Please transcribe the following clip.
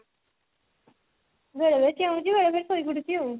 ବେଳେ ବେଳେ ଚେଉଁଛି ବେଳେ ବେଳେ ଶୋଇ ପଡୁଛି ଆଉ